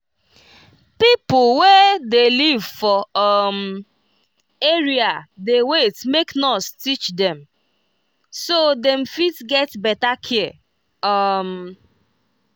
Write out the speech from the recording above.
people wey dey live for um area dey wait make nurse teach dem so dem fit get better care. um